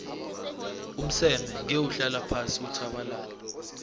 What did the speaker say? umseme ngewuhlala phasi uthabalale